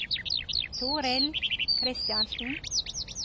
Torill Kristiansen